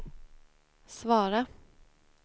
svara